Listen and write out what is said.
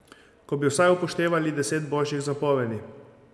Ko bi vsaj upoštevali deset božjih zapovedi.